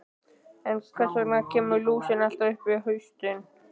En hvers vegna kemur lúsin alltaf upp á haustin?